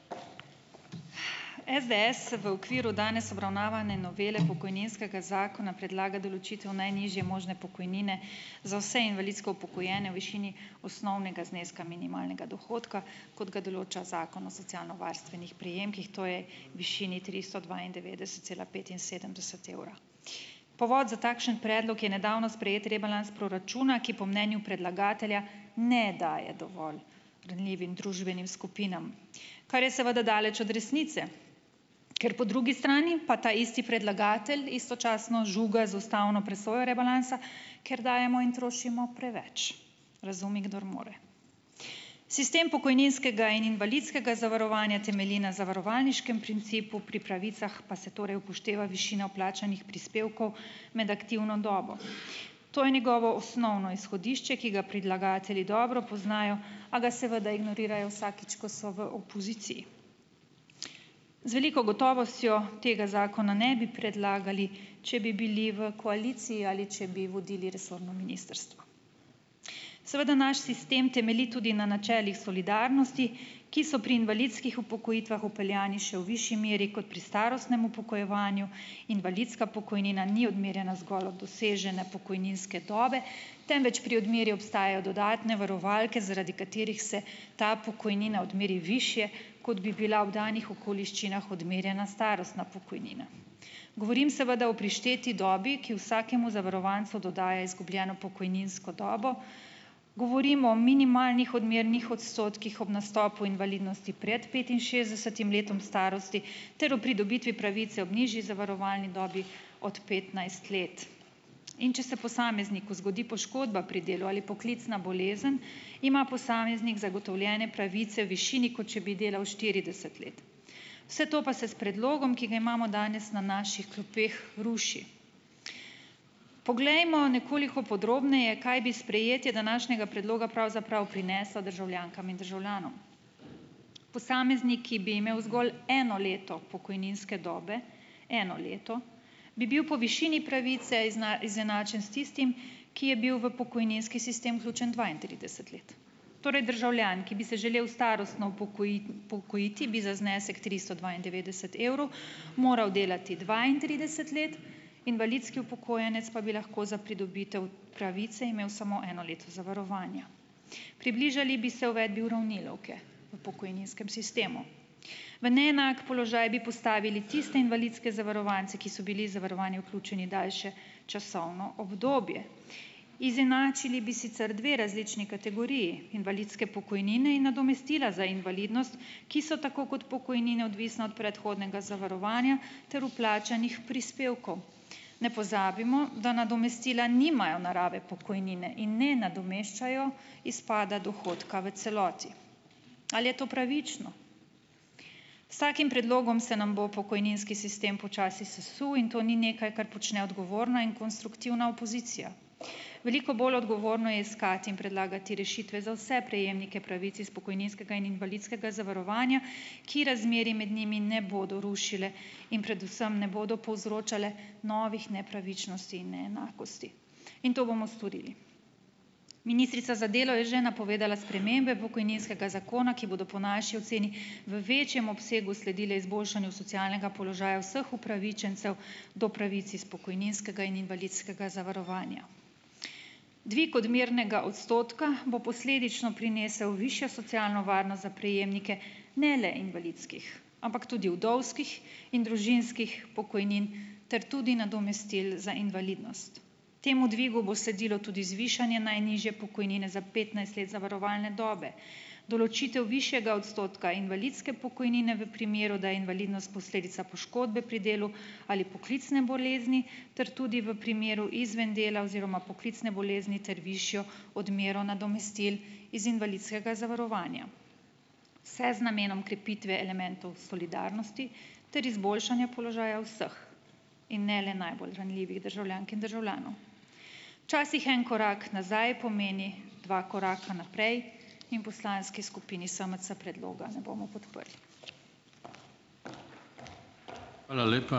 SDS se v okviru danes obravnavane novele pokojninskega zakona predlaga določitev najnižje možne pokojnine za vse invalidsko upokojene v višini osnovnega zneska minimalnega dohodka, kot ga določa zakon o socialnovarstvenih prejemkih, to je v višini tristo dvaindevetdeset cela petinsedemdeset evra, povod za takšen predlog je nedavno sprejeti rebalans proračuna, ki po mnenju predlagatelja ne daje dovolj ranljivim družbenim skupinam, kar je seveda daleč od resnice, ker po drugi strani pa taisti predlagatelj istočasno žuga z ustavno presojo rebalansa, ker dajemo in trošimo preveč, razumi kdor more. Sistem pokojninskega in invalidskega zavarovanja temelji na zavarovalniškem principu, pri pravicah pa se torej upošteva višina vplačanih prispevkov med aktivno dobo, to je njegovo osnovno izhodišče, ki ga predlagatelji dobro poznajo, a ga seveda ignorirajo vsakič, ko so v opoziciji, z veliko gotovostjo tega zakona ne bi predlagali, če bi bili v koaliciji ali če bi vodili resorno ministrstvo, seveda naš sistem temelji tudi na načelih solidarnosti, ki so pri invalidskih upokojitvah vpeljani še v višji meri kot pri starostnem upokojevanju, invalidska pokojnina ni odmerjena zgolj od dosežene pokojninske dobe, temveč pri odmeri obstajajo dodatne varovalke, zaradi katerih se ta pokojnina odmeri višje, kot bi bila v danih okoliščinah odmerjena starostna pokojnina, govorim seveda o prišteti dobi, ki vsakemu zavarovancu dodaja izgubljeno pokojninsko dobo, govorim o minimalnih odmernih odstotkih ob nastopu invalidnosti pred petinšestdesetim letom starosti ter o pridobitvi pravic za v nižji zavarovalni dobi od petnajst let, in če se posamezniku zgodi poškodba pri delu ali poklicna bolezen, ima posameznik zagotovljene pravice višini, kot če bi delal štirideset let, vse to pa se s predlogom, ki ga imamo danes na naših klopeh, ruši. Poglejmo nekoliko podrobneje, kaj bi sprejetje današnjega predloga pravzaprav prineslo državljankam in državljanom, posameznik, ki bi imel zgolj eno leto pokojninske dobe, eno leto bi bil po višini pravice izenačen s tistim, ki je bil v pokojninski sistem vključen dvaintrideset let, torej državljan, ki bi se želel starostno upokojiti, bi za znesek tristo dvaindevetdeset evrov moral delati dvaintrideset let, invalidski upokojenec pa bi lahko za pridobitev pravice imel samo eno leto zavarovanja, približali bi se uvedbi uravnilovke v pokojninskem sistemu, v neenak položaj bi postavili tiste invalidske zavarovance, ki so bili zavarovani vključeni daljše časovno obdobje, izenačili bi sicer dve različni kategoriji invalidske pokojnine in nadomestila za invalidnost, ki so tako kot pokojnine odvisni od predhodnega zavarovanja ter vplačanih prispevkov, ne pozabimo, da nadomestila nimajo narave pokojnine in ne nadomeščajo izpada dohodka v celoti, ali je to pravično. S takim predlogom se nam bo pokojninski sistem počasi sesul in to ni nekaj, kar počne odgovorna in konstruktivna opozicija, veliko bolj odgovorno je iskati in predlagati rešitve za vse prejemnike pravic iz pokojninskega in invalidskega zavarovanja, ki razmerje med njimi ne bodo rušile in predvsem ne bodo povzročale novih nepravičnosti in neenakosti, in to bomo storili. Ministrica za delo je že napovedala spremembe pokojninskega zakona, ki bodo po naši oceni v večjem obsegu sledile izboljšanju socialnega položaja vseh upravičencev do pravic iz pokojninskega in invalidskega zavarovanja. Dvig odmernega odstotka bo posledično prinesel višjo socialno varnost za prejemnike, ne le invalidskih, ampak tudi vdovskih in družinskih pokojnin ter tudi nadomestil za invalidnost, temu dvigu bo sledilo tudi zvišanje najnižje pokojnine za petnajst let zavarovalne dobe, določitev višjega odstotka invalidske pokojnine v primeru, da je invalidnost posledica poškodbe pri delu ali poklicne bolezni ter tudi v primeru izven dela oziroma poklicne bolezni, ter višjo odmero nadomestil iz invalidskega zavarovanja se z namenom krepitve elementov solidarnosti ter izboljšanja položaja vseh in ne le najbolj ranljivih državljank in državljanov. Včasih en korak nazaj pomeni dva koraka naprej in poslanski skupini SMC predloga ne bomo podprli. Hvala lepa.